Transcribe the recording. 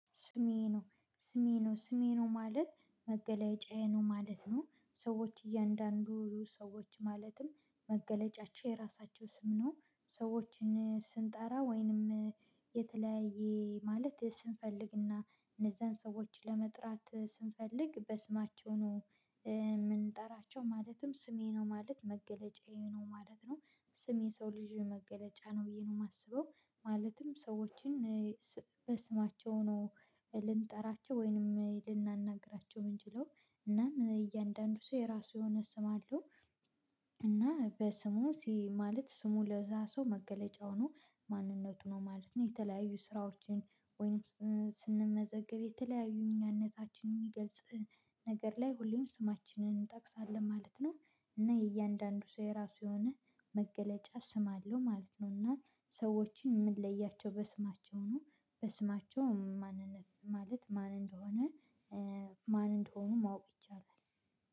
ስሜ ነው ስሜ ነው ስሜ ነው ማለት መገለጫዬ ነው ማለት ነው። ሰዎች እያንዳንዱ ሰዎች ማለትም መገለጫቸው የራሳቸው ስም ነው። ሰዎችን ስንጠራ ወይንም የተለያየ ማለት ስንፈልግና እነዛን ሰዎችን ለመጥራት ስንፈልግ በስማቸው ነው የምንጠራቸው ማለትም ስሜ ነው ማለት መገለጫዬ ነው ማለት ነው ስሜ ሰው ልጅ መገለጫ ነው ብዬ ነው የማስበው። ማለትም ሰዎችን በስማቸው ነው ልንጠራቸው ወይንም ልናናግራቸው የምንችለው እናም እያንዳንዱ ሰው የራሱ የሆነ ስም አለው። እና በስሙ ማለት ስሙ ለዛ ሰው መገለጫው ነው ማንነቱ ነው ማለት ነው። የተለያዩ ስራዎችን ወይም ስንመዘገብ የተለያዩ እኛነታችን የሚገልጽ ነገር ላይ ሁሌም ስማችንን እንጠቅሳለን ማለት ነው። እና የእያንዳንዱ ሰው። የራሱ የሆነ መገለጫ ስም አለው ማለት ነው። እና ሰዎችን የምንለያቸው በስማቸው ነው በስማቸው ማንነት ማለት ማን እንደሆነ ማን እንደሆኑ ማወቅ ይቻላል።